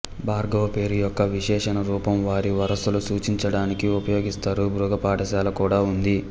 భార్గవ పేరు యొక్క విశేషణ రూపం వారి వారసులు సూచించడానికి ఉపయోగిస్తారు భృగు పాఠశాల కూడా ఉంది